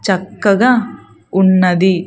చక్కగా ఉన్నది.